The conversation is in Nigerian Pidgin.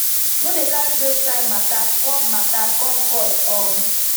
no dey carry dos kain mata come mata come court um